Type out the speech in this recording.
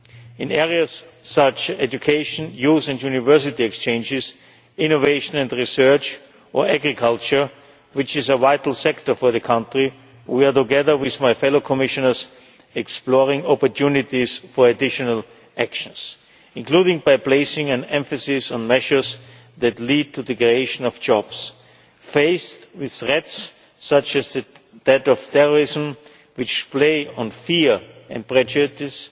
In areas such as education, youth and university exchanges, innovation and research or agriculture, which is a vital sector for the country, together with my fellow Commissioners we are exploring opportunities for additional actions, including by placing an emphasis on measures that lead to the creation of jobs. Faced with threats such as the threat of terrorism which play on fear and prejudice,